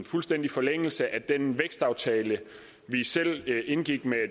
fuldstændig forlængelse af den vækstaftale vi selv indgik med